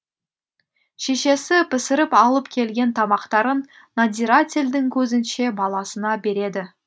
шешесі пісіріп алып келген тамақтарын надзирательдің көзінше баласына береді